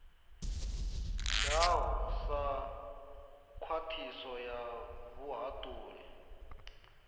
ngaho sa khwiniso ya vhuhaṱuli